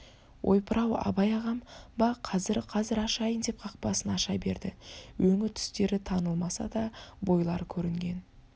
ойпыр-ау абай ағам ба қазір қазір ашайын деп қақпасын аша берді өңі-түстері танылмаса да бойлар көрінген